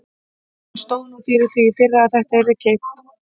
Hann stóð nú fyrir því í fyrra að þetta yrði keypt.